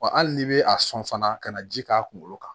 Wa hali n'i bɛ a sɔn fana ka na ji k'a kunkolo kan